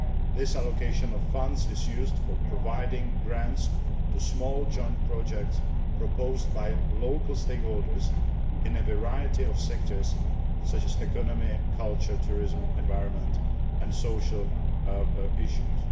This allocation of funds is used for providing grants to small joint projects proposed by local stakeholders in a variety of sectors such as the economy, culture, tourism, the environment and social issues.